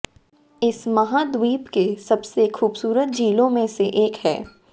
इस महाद्वीप के सबसे खूबसूरत झीलों में से एक है